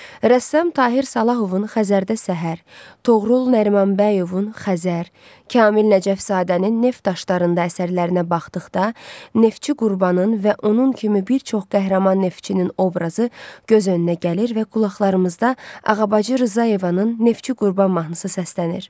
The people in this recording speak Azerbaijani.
Rəssam Tahir Salahovun Xəzərdə səhər, Toğrul Nərimanbəyovun Xəzər, Kamil Nəcəfzadənin Neft daşlarında əsərlərinə baxdıqda, Neftçi Qurbanın və onun kimi bir çox qəhrəman neftçinin obrazı göz önünə gəlir və qulaqlarımızda Ağabacı Rzayevanın Neftçi Qurban mahnısı səslənir.